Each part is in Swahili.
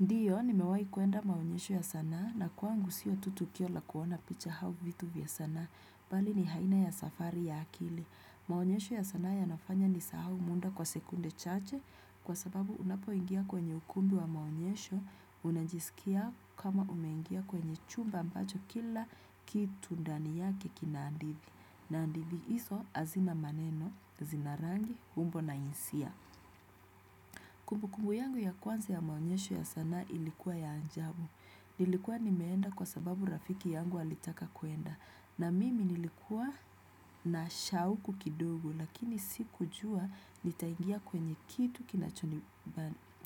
Ndiyo, nimewai kuenda maonyesho ya sanaa na kwangu siyo tu tukio la kuona picha hau vitu vya sanaa. Bali ni haina ya safari ya akili. Maonyesho ya sana ya nafanya ni sahau munda kwa sekunde chache kwa sababu unapo ingia kwenye ukumbi wa maonyesho. Unajisikia kama ume ingia kwenye chumba ambacho kila kitu ndani yake kinandithi. Naandithi iso azina maneno, zina rangi, humbo na insia. Kumbu kumbu yangu ya kwanza ya maonyesho ya sanaa ilikuwa ya anjabu. Nilikuwa nimeenda kwa sababu rafiki yangu alitaka kuenda. Na mimi nilikuwa na shauku kidogo, lakini sikujua nitaingia kwenye kitu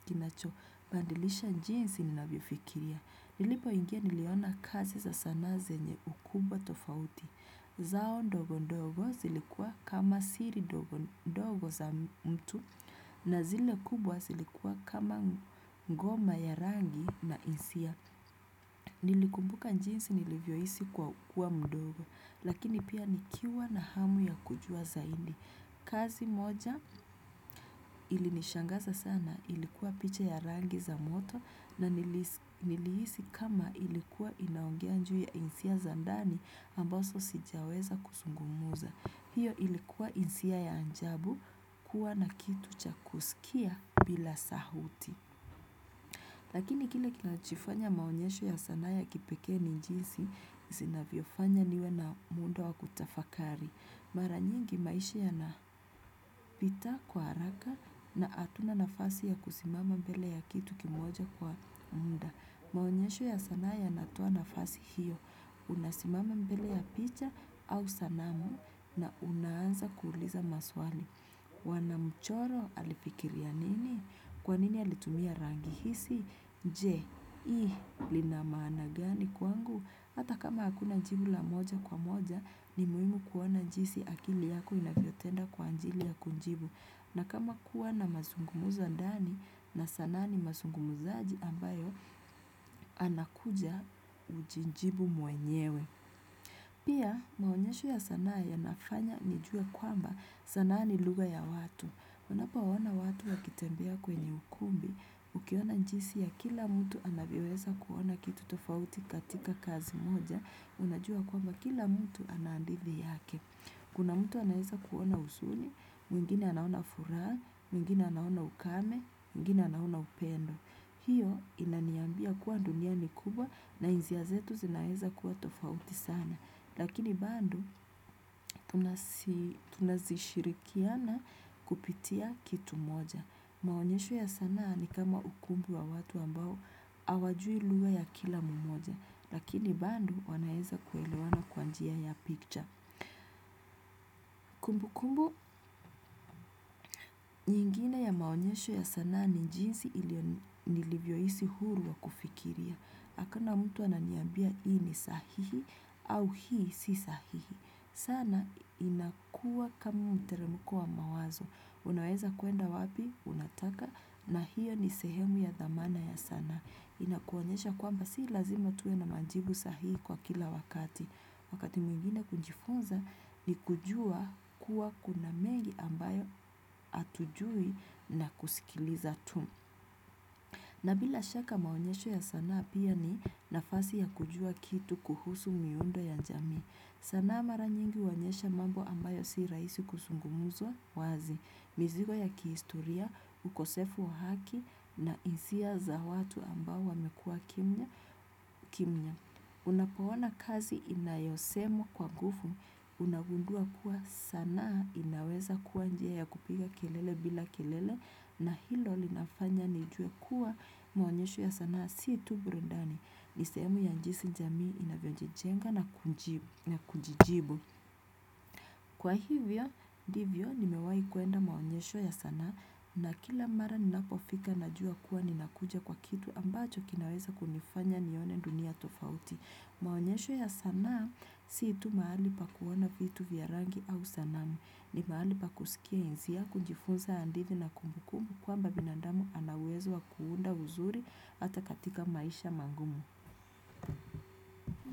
kinacho badilisha jensi ni navyofikiria. Nilipo ingia niliona kazi za sanaa zenye ukubwa tofauti. Zao ndogo ndogo zilikuwa kama siri ndogo za mtu na zile kubwa zilikuwa kama ngoma ya rangi na isia. Nilikumbuka njinsi nilivyo hisi kuwa mdogo lakini pia nikiwa na hamu ya kujua zaindi. Kazi moja ilinishangaza sana ilikuwa picha ya rangi za moto na nilihisi kama ilikuwa inaongea nju ya isia za ndani ambaso sijaweza kusungumuza. Hiyo ilikuwa isia ya anjabu kuwa na kitu cha kusikia bila sauti. Lakini kile kina chifanya maonyesho ya sanaa ya kipeke ni njisi zina vyofanya niwe na muundo wa kutafakari. Mara nyingi maishi yanapita kwa haraka na atuna nafasi ya kusimama mbele ya kitu kimoja kwa munda. Maonyesho ya sanaa ya natoa nafasi hiyo. Unasimama mbele ya picha au sanamu na unaanza kuuliza maswali. Wanamchoro alifikiria nini? Kwanini alitumia rangi hisi? Je, i, linamaana gani kwangu? Hata kama hakuna njibu la moja kwa moja, ni muhimu kuona njisi akili yako inavyotenda kwa ajili ya kunjibu. Na kama kua na masungumuzo ndani na sanaa ni masungumuzaji ambayo, anakuja ujinjibu mwenyewe. Pia, maonyesho ya sanaa yanafanya nijue kwamba sanaa ni lugha ya watu. Kunapo waona watu wakitembea kwenye ukumbi, ukiona njisi ya kila mtu anavyoweza kuona kitu tofauti katika kazi moja, unajua kwamba kila mtu anandithi yake. Kuna mtu anaeza kuona usuni, mwingine anaona furaha, mwingine anaona ukame, mwingine anaona upendo. Hiyo inaniambia kuwa dunia ni kubwa na isiya zetu zinaeza kuwa tofauti sana. Lakini bando tunazishirikiana kupitia kitu moja. Maonyesho ya sanaa ni kama ukumbi wa watu ambao hawajui luga ya kila mmoja. Lakini bando wanaeza kuelewana kwa njia ya picture. Kumbu kumbu nyingine ya maonyesho ya sanaa ni jinsi ili nilivyoisi huru wa kufikiria. Hakuna mtu ananiambia hii ni sahihi au hii si sahihi. Sana inakua kama mteremuko wa mawazo. Unaweza kuenda wapi? Unataka na hiyo ni sehemu ya dhamana ya sanaa. Inakuonyesha kwamba si lazima tuwe na majibu sahihi kwa kila wakati. Wakati mwingine kujifunza ni kujua kuwa kuna mengi ambayo atujui na kusikiliza tu. Na bila shaka maonyesho ya sanaa pia ni nafasi ya kujua kitu kuhusu miundo ya njami. Sanaa mara nyingi uonyesha mambo ambayo si raisi kusungumuzwa wazi. Mizigo ya kihistoria, ukosefu wa haki na isia za watu ambao wamekua kimya. Kimya, unapoona kazi inayosemwa kwa ngufu unagundua kuwa sanaa inaweza kuwa njia ya kupiga kelele bila kelele. Na hilo linafanya nijue kuwa maonyesho ya sanaa si tu burundani. Ni sehemu ya njisi jamii inavyojijenga na kujijibu. Kwa hivyo, divyo nimewai kuenda maonyesho ya sanaa. Na kila mara ninapofika najua kuwa ninakuja kwa kitu ambacho kinaweza kunifanya nione dunia tofauti. Maonyesho ya sanaa si tu mahali pa kuona vitu vya rangi au sanamu ni mahali pa kusikia iziya kunjifunza andithi na kumbukumbu kwamba binandamu ana uwezo wa kuunda uzuri hata katika maisha magumu.